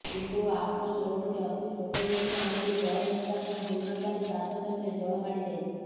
କିନ୍ତୁ ଆପ୍ରୋଚ୍ ରୋଡ଼ଟି ଅତି ଛୋଟ ହୋଇଥିବା ହେତୁ ଜଳ ନିଷ୍କାସନ ହୋଇନପାରି ଚାଷ ଜମିରେ ଜଳ ମାଡିଯାଇଛି